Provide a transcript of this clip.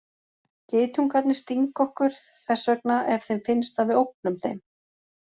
Geitungarnir stinga okkur þess vegna ef þeim finnst að við ógnum þeim.